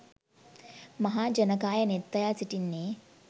මහා ජනකාය නෙත් අයා සිටින්නේ